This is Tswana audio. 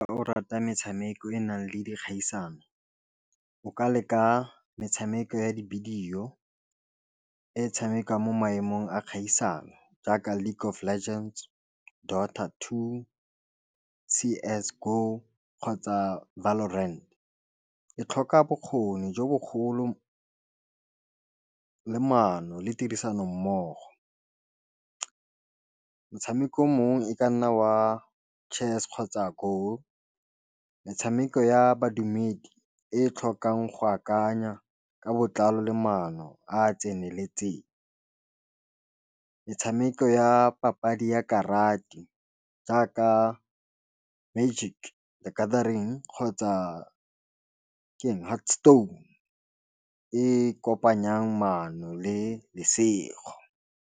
O rata metshameko e e nang le dikgaisano o ka leka metshameko ya dibidio e tshamekang mo maemong a kgaisano jaaka League of legends, Daughter Two, C as Go, kgotsa Valo Rent e tlhoka bokgoni jo bogolo le mano le tirisano mmogo, motshameko mongwe e ka nna wa chess kgotsa goal metshameko ya badumedi e tlhokang go akanya ka botlalo le maano a tseneletseng metshameko ya papadi ya karate jaaka Magic Gathering kgotsa Heart Stone e kopanyang mono le lesego.